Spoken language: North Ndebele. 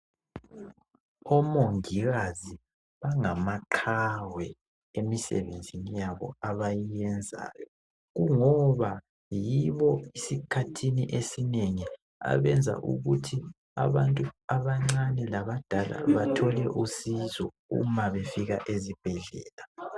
Omongikazi bangamaqhawe emisebenzini yabo abayiyenzayo kungoba yibo esikhathini esinengi abenza ukuthi abantu abancane labadala bathole usizo nxa befika esibhedlela.